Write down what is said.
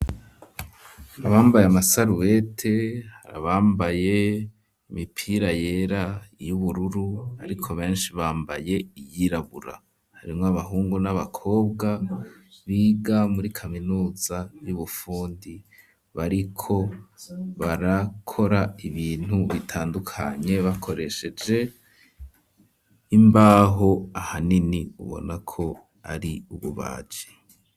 Abambaye amasarubete abambaye imipira yera y'ubururu ariko beshi bambaye iyirabura harimwo abahungu n'abakobwa biga muri kaminuza y'ubufundi bariko barakora ibintu bitandukanye bakoresheje imbaho ahanini ubona ko ari ububaji.